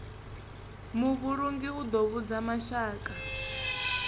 muvhulungi u ḓo vhudza mashaka